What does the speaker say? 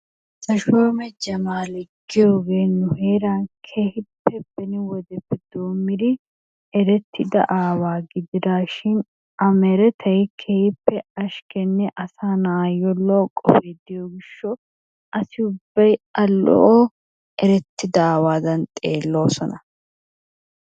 Tashomme jamale giyogee ni heran kehippe benni wodeeppe domiddi erettidaa awaa gididishan a meretay kehippe ashkenne asa na'ayo lo'o qoffi de'iyo gishawu assi ubbi a lo'oerettiddaa awattan xelosonnaa.